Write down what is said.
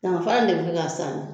Daganfara in de bi kɛ k'a saani